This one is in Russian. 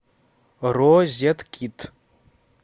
розеткид